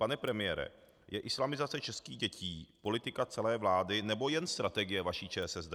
Pane premiére, je islamizace českých dětí politika celé vlády, nebo jen strategie vaší ČSSD?